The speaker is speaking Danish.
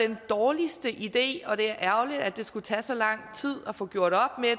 den dårligste idé og det er ærgerligt at det skulle tage så lang tid at få gjort op med